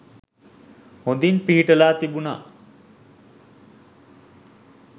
හොඳින් පිහිටලා තිබුනා